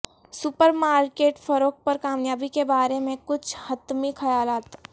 super market فروغ پر کامیابی کے بارے میں کچھ حتمی خیالات